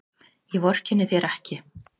Ég vorkenni þér ekki.